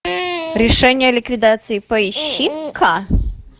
решение о ликвидации поищи ка